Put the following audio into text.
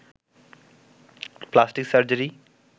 plastic surgery